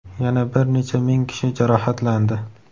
yana bir necha ming kishi jarohatlandi.